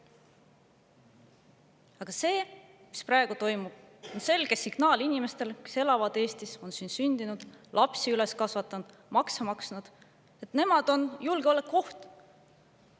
Aga see, mis praegu toimub, on selge signaal inimestele, kes elavad Eestis, on siin sündinud, lapsed üles kasvatanud, makse maksnud, et nemad on julgeolekuoht.